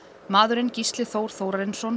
maðurinn Gísli Þór Þórarinsson